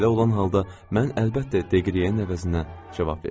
Belə olan halda mən əlbəttə Degriyeyin əvəzinə cavab verdim.